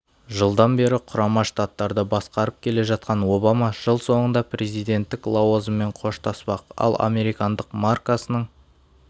жылдан бері құрама штаттарды басқарып келе жатқан обама жыл соңында президенттік лауазыммен қоштаспақ ал американдық маркасының